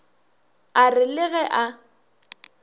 a re le ge a